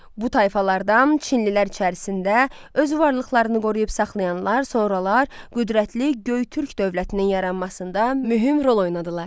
Bu tayfalardan çinlilər içərisində öz varlıqlarını qoruyub saxlayanlar sonralar qüdrətli Göytürk dövlətinin yaranmasında mühüm rol oynadılar.